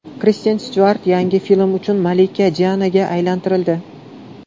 Kristen Styuart yangi film uchun malika Dianaga aylantirildi .